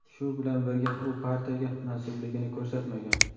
shu bilan birga u partiyaga mansubligini ko‘rsatmagan.